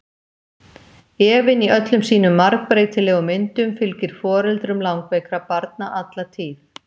Efinn í öllum sínum margbreytilegu myndum fylgir foreldrum langveikra barna alla tíð.